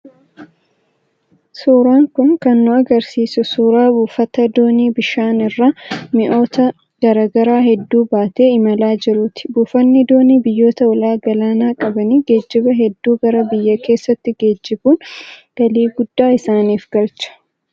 Suuraan kun kan nu agarsiisu suuraa buufata doonii bishaan irra mi'oota garaa garaa hedduu baatee imalaa jiruuti. Buufanni doonii biyyoota ulaa galaanaa qabanii geejjiba hedduu gara biyya keessaatti geejibuun galii guddaa isaaniif galcha.